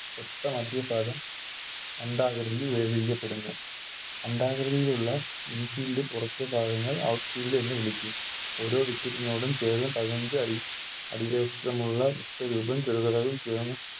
ഒത്ത മദ്യ ഭാഗം അണ്ഡാകൃതിയിൽ ൽ പ്പെടുന്നു അണ്ഡാകൃതിയിലുള്ള Infield ലെ പുറത്തെ ഭാഗങ്ങൾ Out field എന്ന് വിളിക്കും ഓരോ Wicket നോടും ചേർന്ന് പതിനഞ്ച് അടി അടിവശത്തുമുള്ള ചേർന്ന്